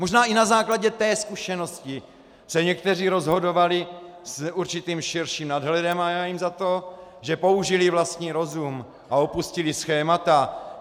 Možná i na základě té zkušenosti se někteří rozhodovali s určitým širším nadhledem a já jim za to, že použili vlastní rozum a opustili schémata...